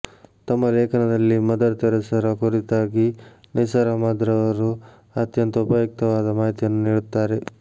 ತಮ್ಮ ಲೇಖನದಲ್ಲಿ ಮದರ್ ತೆರೆಸರ ಕುರಿತಾಗಿ ನಿಸಾರ್ ಅಹಮದ್ರವರು ಅತ್ಯಂತ ಉಪಯುಕ್ತವಾದ ಮಾಹಿತಿಯನ್ನು ನೀಡುತ್ತಾರೆ